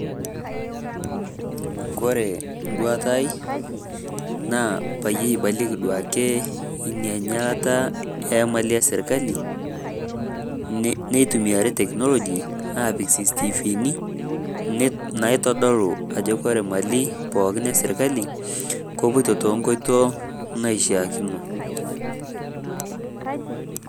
Kore nduatai naa paiye iibalieki duake enya ainyalaa imali esirkali. Neitumiari teknoloji apiik [ cctv ni naitodol ako kore imali pooki esirkali kopooto to nkotoo naishakino.